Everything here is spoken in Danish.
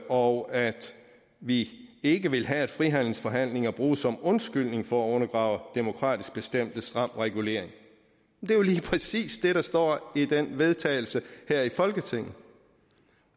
og at vi ikke vil have at frihandelsforhandlinger bruges som undskyldning for at undergrave demokratisk bestemt stram regulering det er jo lige præcis det der står i det forslag til vedtagelse her i folketinget